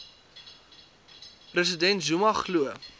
president zuma glo